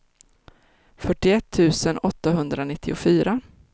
fyrtioett tusen åttahundranittiofyra